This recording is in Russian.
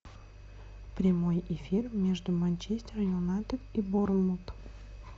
прямой эфир между манчестер юнайтед и борнмут